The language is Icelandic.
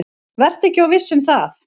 Vertu ekki of viss um það.